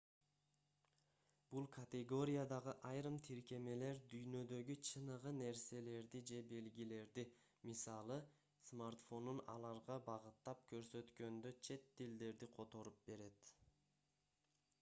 бул категориядагы айрым тиркемелер дүйнөдөгү чыныгы нерселерди же белгилерди мисалы смартфонун аларга багыттап көрсөткөндө чет тилдерди которуп берет